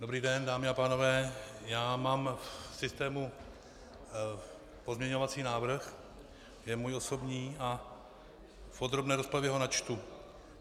Dobrý den, dámy a pánové, já mám v systému pozměňovací návrh, je můj osobní, a v podrobné rozpravě ho načtu.